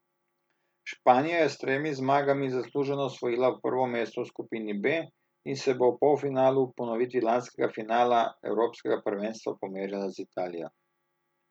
Španija je s tremi zmagami zasluženo osvojila prvo mesto v skupini B in se bo v polfinalu v ponovitvi lanskega finala evropskega prvenstva pomerila z Italijo.